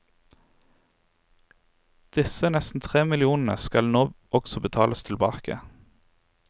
Disse nesten tre millionene skal nå også betales tilbake.